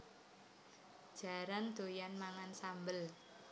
Jaran doyan mangan sambel